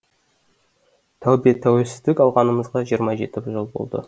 тәубе тәуелсіздік алғанымызға жиырма жеті жыл болды